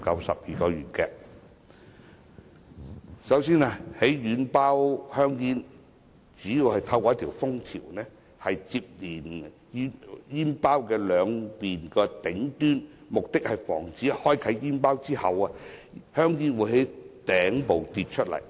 首先，軟包香煙主要透過一條封條連接煙包兩面的頂端，從而防止在開啟煙包之後，香煙從頂部跌出。